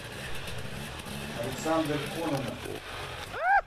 александр кононов